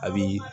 A bi